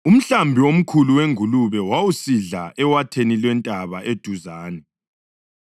Umhlambi omkhulu wengulube wawusidla ewatheni lwentaba eduzane.